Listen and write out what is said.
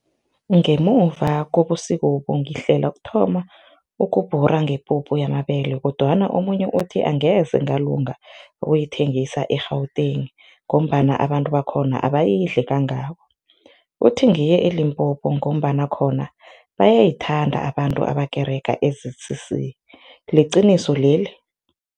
Ngemuva kobusikobu ngihlela ukuthoma ukubhura ngepuphu yambele kodwana omunye uthi, angeze ngalunga ukuyithengisa e-Gauteng ngombana abantu bakhona abayidli kangako, uthi ngiye eLimpopo ngombana khona bayayithanda abantu ebakerega e-Z_C_C liqiniso leli?